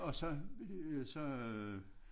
Og så så øh